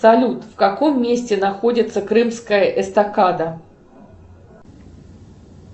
салют в каком месте находится крымская эстакада